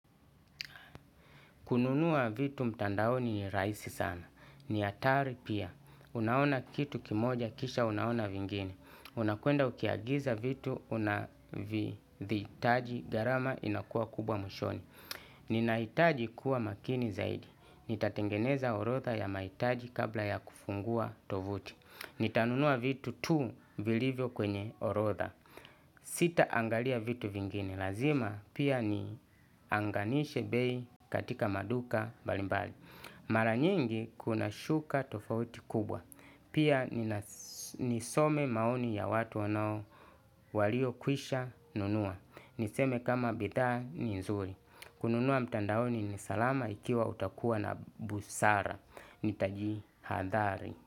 Kununua vitu mtandaoni ni rahisi sana. Ni atari pia. Unaona kitu kimoja kisha unaona vingine. Unakenda ukiagiza vitu unavihitaji gharama inakuwa kubwa mwishoni. Ninahitaji kuwa makini zaidi. Nitatengeneza orodha ya mahitaji kabla ya kufungua tovuti. Nitanunua vitu tu vilivyo kwenye orodha. Sita angalia vitu vingine. Lazima pia nianganishe bei katika maduka mbalimbali. Mara nyingi kuna shuka tofauti kubwa. Pia nisome maoni ya watu wanao walio kwisha nunua. Niseme kama bidhaa ni nzuri. Kununua mtandaoni ni salama ikiwa utakuwa na busara. Nitaji hadhari.